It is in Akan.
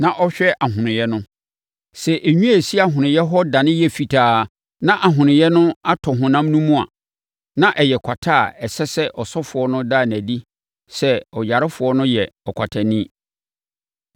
na ɔhwɛ ahonoeɛ no. Sɛ enwi a ɛsi ahonoeɛ hɔ dane yɛ fitaa na ahonoeɛ no atɔ honam no mu a, na ɛyɛ kwata a ɛsɛ sɛ ɔsɔfoɔ no da no adi sɛ ɔyarefoɔ no yɛ ɔkwatani.